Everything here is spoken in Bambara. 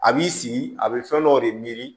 A b'i sigi a bɛ fɛn dɔw de